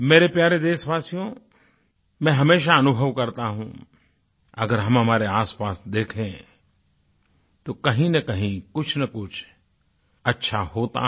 मेरे प्यारे देशवासियो मैं हमेशा अनुभव करता हूँ अगर हम हमारे आसपास देखें तो कहींनकहीं कुछनकुछ अच्छा होता है